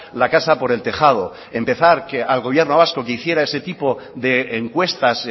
la casa por el tejado empezar que al gobierno vasco que hiciera ese tipo de encuestas